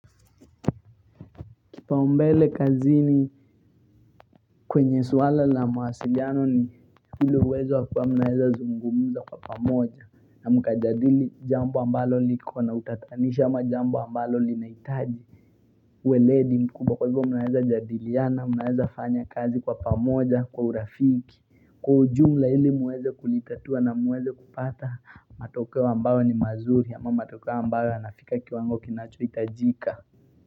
Kipaumbele kazini kwenye swala la mawasiliano ni ile uwezo wa kuwa mnaweza zungumza kwa pamoja na mkajadili jambo ambalo likona utatanisho ama jambo ambalo linahitaji uweledi mkubwa kwa hivyo mnaweza jadiliana mnaweza fanya kazi kwa pamoja kwa urafiki, kwa ujumla ili muweze kulitatua na muweze kupata matokeo ambayo ni mazuri ama matokeo ambayo yanafika kiwango kinachohitajika.